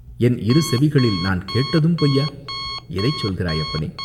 என் இரு செவிகளால் நான் கேட்டதும் பொய்யா?" "எதைச் சொல்கிறாய், அப்பனே?